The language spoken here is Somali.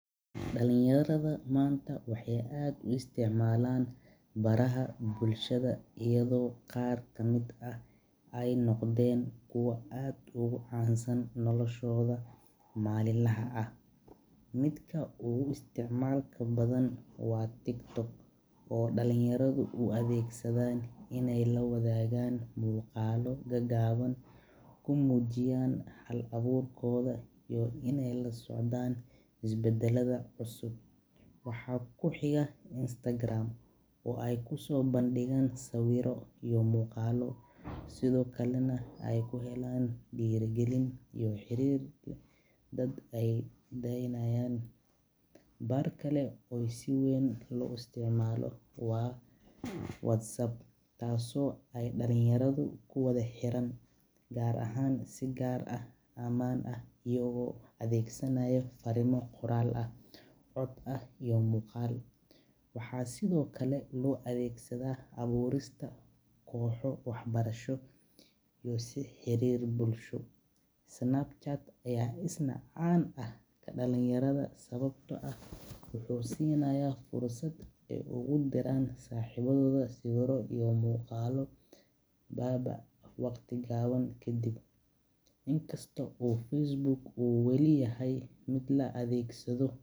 Dalinyarada waxeey aad u isticmaalan baraha bulshada, midka uu isticmaalka badan waa tiktok oo dalinyarada la wadaagan muuqalo yaryar, waxeey soo bandigaan sawiiro, waxeey helaan xariirin, taas oo aay dalinyarada kuwada xiran ayado cod iyo muqaal isticmaalayo, si xariir bulsho, dalinyara mwuxuu siinaya fursad aay kudiraan sawiiro.